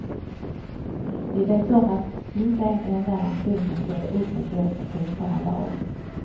Vi vet om att inte en enda nation kan ställa upp med bästa tänkbara lag.